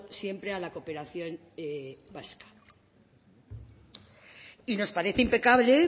siempre a la cooperación básica nos parece impecable